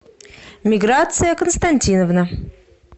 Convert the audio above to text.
миграция константиновна